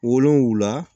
Wolonwula